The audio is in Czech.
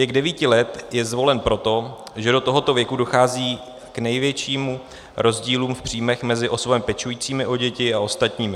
Věk 9 let je zvolen proto, že do tohoto věku dochází k největším rozdílům v příjmech mezi osobami pečujícími o děti a ostatními.